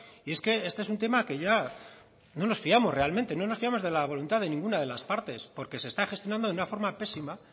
y es que este es un tema que ya no nos fiamos realmente no nos fiamos de la voluntad de ninguna de las partes porque se está gestionando de una forma pésima